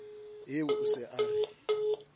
eo o se a re